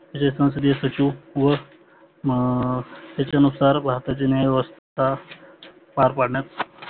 तसेच संसदीय सचीव व म त्याच्या नुसार भारताचे न्यय व्यवस्था पार पाडण्यास